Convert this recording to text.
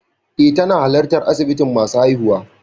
Eh, tana halartar asibitin masu haihuwa.